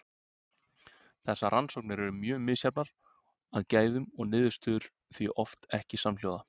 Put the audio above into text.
Þessar rannsóknir eru mjög misjafnar að gæðum og niðurstöður því oft ekki samhljóða.